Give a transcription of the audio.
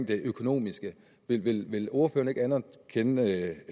det økonomiske vil ordføreren ikke anerkende at